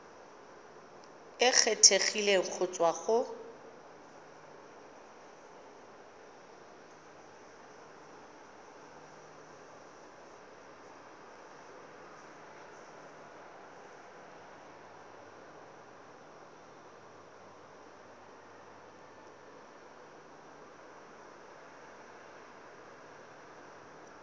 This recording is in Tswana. e kgethegileng go tswa go